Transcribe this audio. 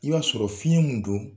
I b'a sɔrɔ fiɲɛ min don